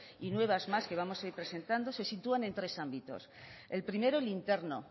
y nuevas más que vamos a ir presentando se sitúan en tres ámbitos el primero el interno